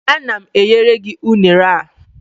Ana m enyere gị unere a